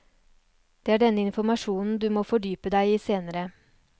Det er denne informasjonen du må fordype deg i senere.